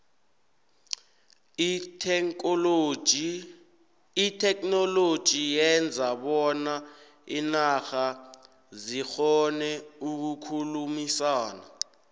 itheknoloji yenza bona iinarha zikgone ukukhulumisana